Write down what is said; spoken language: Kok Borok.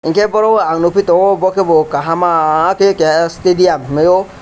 hinkhe boro o ang nukphi tongo bo khebo kahama khe keha stadium hinmaio.